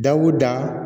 Dawuda